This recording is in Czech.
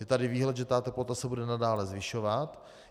Je tady výhled, že ta teplota se bude nadále zvyšovat.